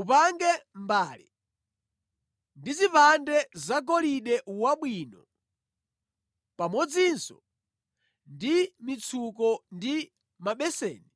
Upange mbale ndi zipande zagolide wabwino, pamodzinso ndi mitsuko ndi mabeseni